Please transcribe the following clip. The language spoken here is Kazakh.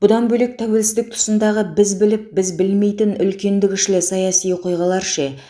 бұдан бөлек тәуелсіздік тұсындағы біз біліп біз білмейтін үлкенді кішілі саяси оқиғалар ше